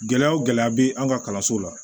Gɛlɛya o gɛlɛya bɛ an ka kalanso la